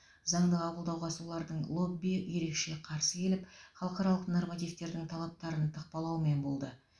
заңды қабылдауға солардың лоббиі ерекше қарсы келіп халықаралық нормативтердің талаптарын тықпалаумен болды